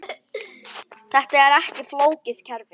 Þetta er ekki flókið kerfi.